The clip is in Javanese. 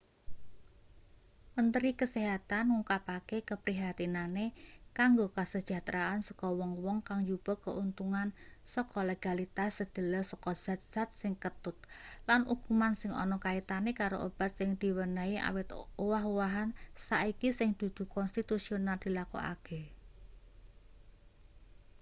mentri kesehatan ngungkapake keprihatinane kanggo kasejahteraan saka wong-wong kang njupuk keuntungan saka legalitas sedhela saka zat-zat sing ketut lan ukuman sing ana kaitane karo obat sing diwenehne awit owah-owahan saiki sing dudu konstitusional dilakokake